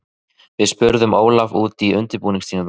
Við spurðum Ólaf út í undirbúningstímabilið.